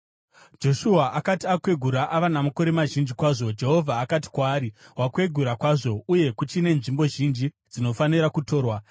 Joshua akati akwegura ava namakore mazhinji kwazvo, Jehovha akati kwaari, “Wakwegura kwazvo, uye kuchine nzvimbo zhinji dzinofanira kutorwa.